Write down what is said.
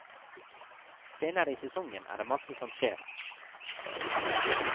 Senere i sesongen er det masse som skjer.